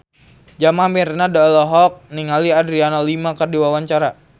Jamal Mirdad olohok ningali Adriana Lima keur diwawancara